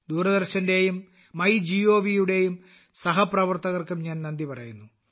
ദൂരദർശന്റെയും MyGovയുടെയും സഹപ്രവർത്തകർക്കും ഞാൻ നന്ദി പറയുന്നു